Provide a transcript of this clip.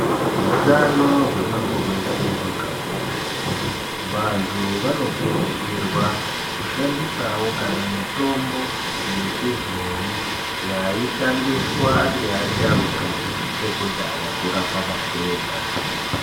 Hutano hwemuntu weshe hwakakosha. Vantu vanokurudzirwawo kushandisa kunyangwe mitombo yechibhoi yaishandiswa ngeasharuka ekudhaya kurapa matenda.